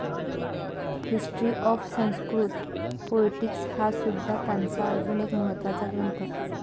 History of Sanskrit पोएटिक्स'हासुद्धा त्यांचा अजून एक महात्वाचा ग्रंथ.